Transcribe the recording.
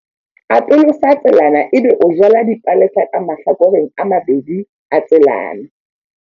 Atolosa tselana ebe o jala dipalesa ka mahlakoreng a mabedi a tselana.